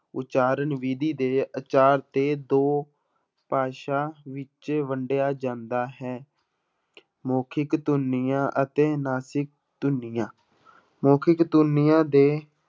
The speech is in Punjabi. ਉਚਾਰਨ ਵਿਧੀ ਦੇ ਆਚਾਰ ਤੇ ਦੋ ਭਾਸ਼ਾ ਵਿੱਚ ਵੰਡਿਆ ਜਾਂਦਾ ਹੈ ਮੋਖਿਕ ਧੁਨੀਆਂ ਅਤੇ ਨਾਸਿਕ ਧੁਨੀਆਂ ਮੋਖਿਕ ਧੁਨੀਆਂ ਦੇ